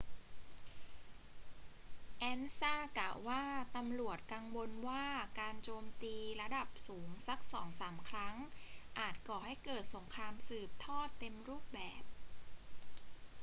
ansa กล่าวว่า ตำรวจกังวลว่าการโจมตีระดับสูงสักสองสามครั้งอาจก่อให้เกิดสงครามสืบทอดเต็มรูปแบบ